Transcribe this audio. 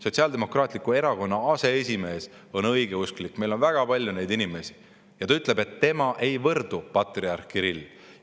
Sotsiaaldemokraatliku Erakonna aseesimees on õigeusklik – meil on väga palju neid inimesi – ja ta ütleb, et tema ei võrdu patriarh Kirilliga.